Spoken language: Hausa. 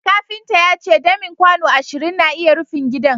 kafinta ya ce damin kwano ashirin na iya rufin gidan